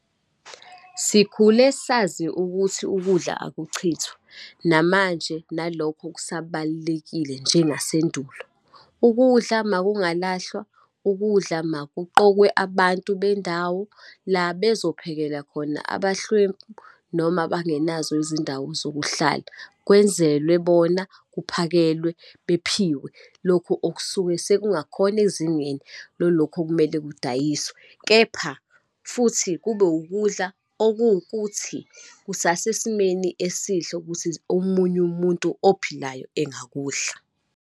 Sikhule sazi ukuthi ukudla akuchithwa, namanje nalokho kusabalulekile njengasendulo. Ukudla makungalahlwa, ukudla makuqokwe abantu bendawo la bezophekela khona abahlwempu, noma abengenazo izindawo zokuhlala, kwenzelwe bona, kuphakelwe, bephiwe lokhu okusuke sekungakhona ezingeni lolokho okumele kudayiswe. Kepha futhi kube ukudla okuwukuthi kusasesimeni esihle ukuthi omunye umuntu ophilayo engakudla.